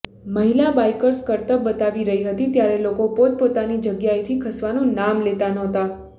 મહિલા બાઈકર્સ કરતબ બતાવી રહી હતી ત્યારે લોકો પોતપોતાની જગ્યાએથી ખસવાનું નામ લેતા નહોતા